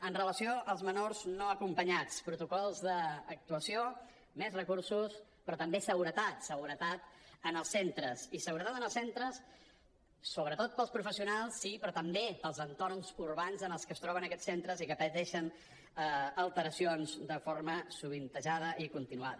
amb relació als menors no acompanyats protocols d’actuació més recursos però també seguretat seguretat en els centres i seguretat en els centres sobretot per als professionals sí però també per als entorns urbans en els que es troben aquests centres i que pateixen alteracions de forma sovintejada i continuada